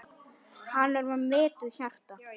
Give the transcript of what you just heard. Hann er með viturt hjarta.